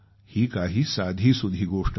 ही काही साधीसुधी गोष्ट नाही